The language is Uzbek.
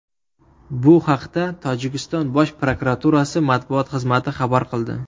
Bu haqda Tojikiston Bosh prokuraturasi matbuot xizmati xabar qildi .